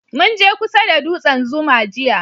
Mun je kusa da dutsen zuma jiya